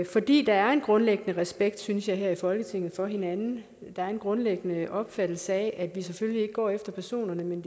fordi der er en grundlæggende respekt synes jeg her i folketinget for hinanden der er en grundlæggende opfattelse af at vi selvfølgelig ikke går efter personerne men